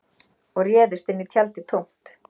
Og réðust inn í tjaldið tómt